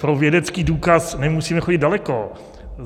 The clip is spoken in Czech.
Pro vědecký důkaz nemusíme chodit daleko.